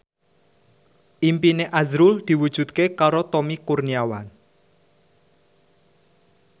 impine azrul diwujudke karo Tommy Kurniawan